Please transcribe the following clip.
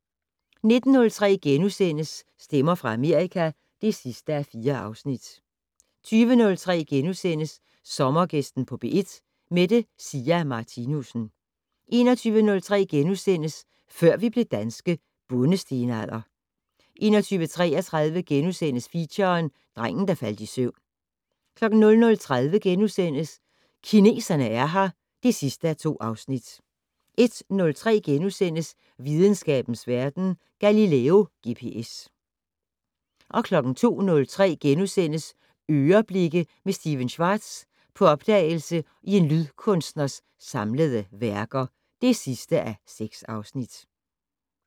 19:03: Stemmer fra Amerika (4:4)* 20:03: Sommergæsten på P1: Mette Sia Martinussen * 21:03: Før vi blev danske - Bondestenalder * 21:33: Feature: Drengen der faldt i søvn * 00:30: Kineserne er her (2:2)* 01:03: Videnskabens Verden: Galileo GPS * 02:03: "Øreblikke" med Stephen Schwartz - på opdagelse i en lydkunstners samlede værker (6:6)*